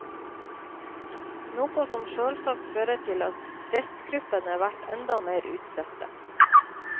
Noko som sjølvsagt fører til at restgruppene vert endå meir utsette.